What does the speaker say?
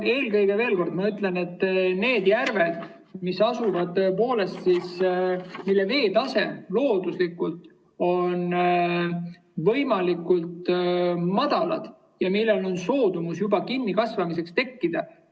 Eelkõige, veel kord ma ütlen, et need järved, mille veetase on looduslikult madal ja kus on juba soodumus kinnikasvamisel tekkida.